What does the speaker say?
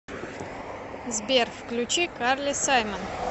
сбер включи карли саймон